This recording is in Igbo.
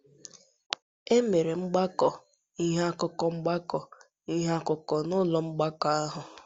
E mere mgbakọ ihe akụkọ mgbakọ ihe akụkọ n’ụlọ mgbakọ ahụ.